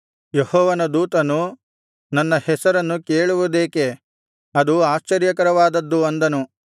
ಯೆಹೋವನ ದೂತನು ನನ್ನ ಹೆಸರನ್ನು ಕೇಳುವುದೇಕೆ ಅದು ಆಶ್ಚರ್ಯಕರವಾದದ್ದು ಅಂದನು